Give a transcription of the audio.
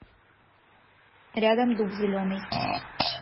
рядом дуб зеленый